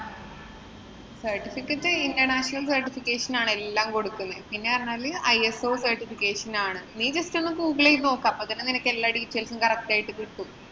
certificate international certificate ആണ് എല്ലാം കൊടുക്കുന്നേ. എന്ന് പറഞ്ഞാല് ISO Certification ആണ്. നീ just ഒന്ന് ഗൂഗിള് ചെയ്ത് നോക്ക്. അപ്പൊ തന്നെ നിനക്ക് എല്ലാ details ഉം correct ആയി കിട്ടും.